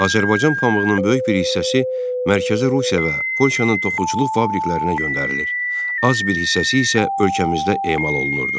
Azərbaycan pambığının böyük bir hissəsi Mərkəzi Rusiya və Polşanın toxuculuq fabriklərinə göndərilir, az bir hissəsi isə ölkəmizdə emal olunurdu.